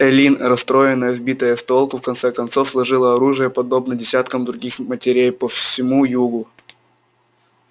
эллин расстроенная сбитая с толку в конце концов сложила оружие подобно десяткам других матерей по всему югу